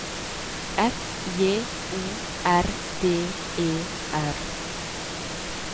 F J O R D E R